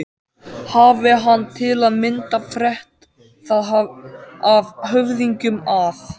Hafi hann til að mynda frétt það af höfðingjum að